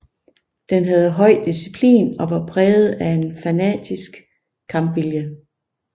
Den havde høj disciplin og var præget af en fanatisk kampvilje